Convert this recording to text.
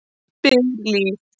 spyr Líf.